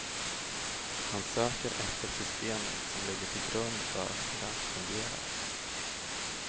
Han söker efter systemet som ligger till grund för hur allt fungerar.